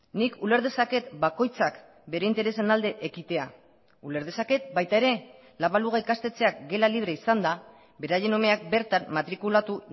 nik uler dezaket bakoitzak bere interesen alde ekitea uler dezaket baita ere la baluga ikastetxeak gela libre izanda beraien umeak bertan matrikulatu